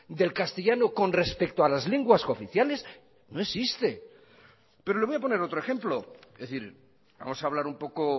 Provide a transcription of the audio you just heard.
del castellano con respecto a las lenguas oficiales no existe pero le voy a poner otro ejemplo es decir vamos a hablar un poco